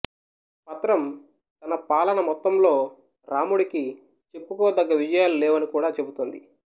పత్రం తన పాలన మొత్తంలో రాముడికి చెప్పుకోదగ్గ విజయాలు లేవని కూడా చెబుతోంది